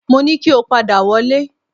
Mo ní kí o padà wọlé